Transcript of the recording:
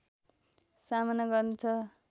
सामना गर्नु छ